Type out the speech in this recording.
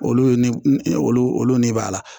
Olu ni olu olu olu ne b'a la